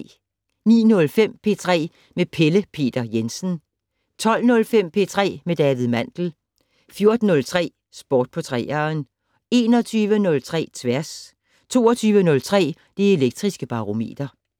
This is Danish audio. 09:05: P3 med Pelle Peter Jensen 12:05: P3 med David Mandel 14:03: Sport på 3'eren 21:03: Tværs 22:03: Det Elektriske Barometer